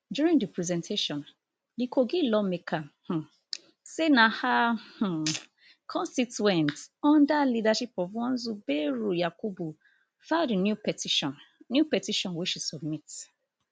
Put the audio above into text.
during di presentation di kogi lawmaker um say na her um constituents under leadership of one zubairu yakubu file di new petition new petition wey she submit